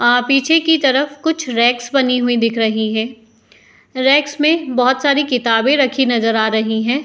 आ पीछें की तरफ कुछ रेक्स बनी हुई दिख रही है। रेक्स में बहोत सारी किताबें रखी नज़र आ रही है।